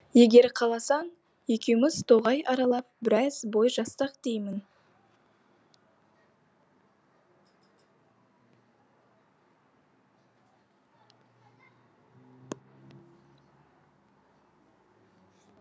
егер қаласаң екеуміз тоғай аралап біраз бой жазсақ деймін